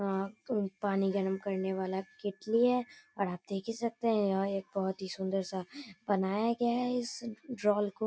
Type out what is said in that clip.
यहाँ तो पानी गर्म करने वाला केतली है और आप देख ही सकते हैं यह एक बहुत ही सुंदर-सा बनाया गया है इस ड्रोल को।